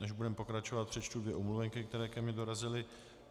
Než budeme pokračovat, přečtu dvě omluvenky, které ke mně dorazily.